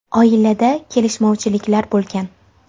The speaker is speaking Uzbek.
Oilada kelishmovchiliklar bo‘lgan.